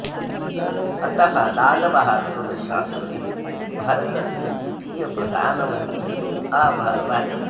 अतः लाल बहादूर शास्त्री भारतस्य द्वितीयः प्रधानमन्त्री अभवत्